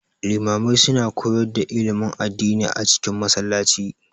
Limamai su na koyar da ilimin addini a cikin Masallaci